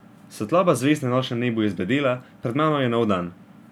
Svetloba zvezd na nočnem nebu je zbledela, pred mano je nov dan.